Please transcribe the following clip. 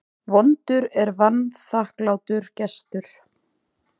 Vondur er vanþakklátur gestur.